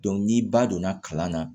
ni ba donna kalan na